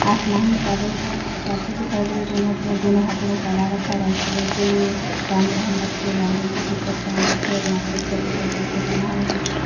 आसमान में बादल छाए हुए है एक आदमी दिखाई दे रहा है जो अपने दोनों हाथो को फैला रखा है वाइट कलर की पैंट पेहन रखी है लाल रंग की टशीट पेहन रखे है और यहाँ पर एक चबूतरा टाइप का बना है उसी पे खड़ा--